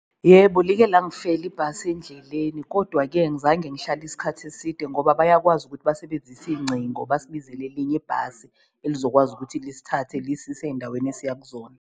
Yebo, like langifela ibhasi endleleni kodwa-ke ngizange ngihlale isikhathi eside ngoba bayakwazi ukuthi basebenzise iyingcingo, basibizele elinye ibhasi elizokwazi ukuthi lisithathe lisise eyindaweni esiya kuzona.